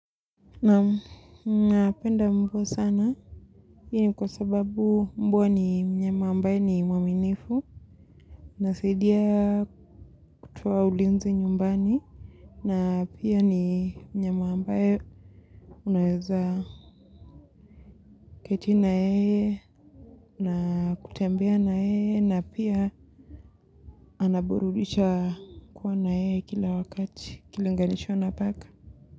Naam napenda mruo sana. Hii ni kwa sababu mbwa ni mnyama ambaye ni mwaminifu. Nasaidia kutoa ulinzi nyumbani. Na pia ni mnyama ambaye unaweza keti na yeye na kutembea na yeye na pia anaburudisha kuwa na yeye kila wakati ukilinganisha na paka.